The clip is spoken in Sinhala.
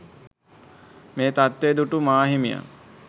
මේ තත්ත්වය දුටු මාහිමියන්